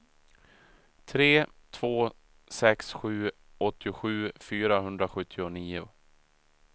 tre två sex sju åttiosju fyrahundrasjuttionio